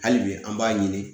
Hali bi an b'a ɲini